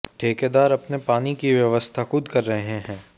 ठेकेदार अपने पानी की व्यवस्था खुद कर रहे हैं